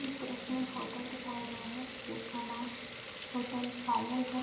इस दृश्य में होटल दिखाया गया है जिसका नाम होटल पायल है।